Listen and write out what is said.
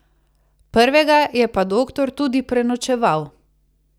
Prvega je pa doktor tudi prenočeval.